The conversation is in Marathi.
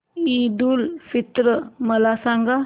ईद उल फित्र मला सांग